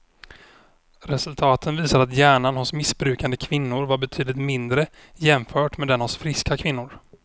Resultaten visar att hjärnan hos missbrukande kvinnor var betydligt mindre jämfört med den hos friska kvinnor.